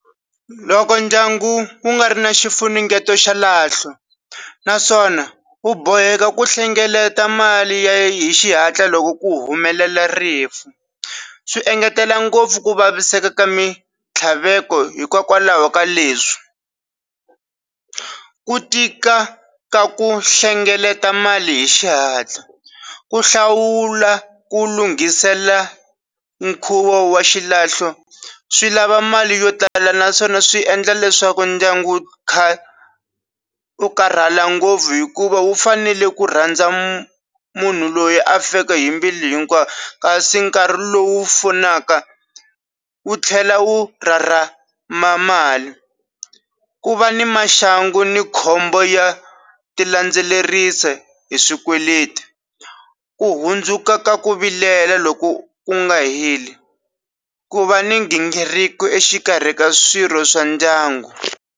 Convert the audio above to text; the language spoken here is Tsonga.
Loko ndyangu wu nga ri na xifunengeto xa xilahlo naswona wu boheka ku hlengeleta mali ya yi hi xihatla loko ku humelela rifu swi engetela ngopfu ku vaviseka ka mitlhaveko hikokwalaho ka leswi ku tika ka ku hlengeleta mali hi xihatla ku hlawula ku lunghisela nkhuvo wa xilahlo swi lava mali yo tala naswona swi endla leswaku ndyangu kha u karhala ngopfu hikuva wu fanele ku rhandza munhu loyi afika yimbile hinkwayo ka swi nkarhi lowu wu pfunaka wu tlhela wu ra ra ma mali ku va ni maxangu ni khombo ya ti landzelerisi hi swikweleti ku hundzuka ka ku vilela loko ku nga heli ku va ni nghingiriko exikarhi ka swirho swa ndyangu.